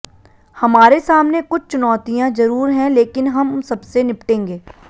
हमारे सामने कुछ चुनौतियां जरूर हैं लेकिन हम सबसे निपटेंगे